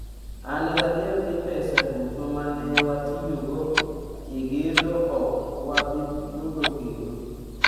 An gadier ni pesa duto ma ne watiyogo e gedo ok wabi yudo kendo".